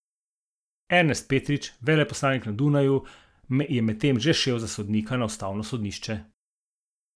Ernest Petrič, veleposlanik na Dunaju, je medtem že šel za sodnika na ustavno sodišče.